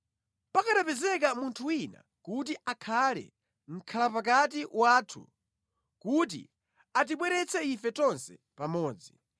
Pakanapezeka munthu wina kuti akhale mʼkhalapakati wathu, kuti atibweretse ife tonse pamodzi,